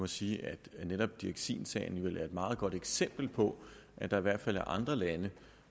sige at netop dioxinsagen vel er et meget godt eksempel på at der i hvert fald er andre lande